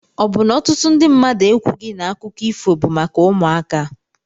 Ọ bụ na ọtụtụ ndị mmadụ ekwughị na akụkọ ifo bụ maka ụmụaka?